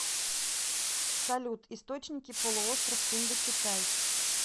салют источники полуостров индокитай